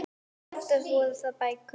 Oftast voru það bækur.